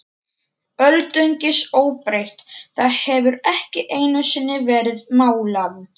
Öldungis óbreytt, það hefur ekki einusinni verið málað.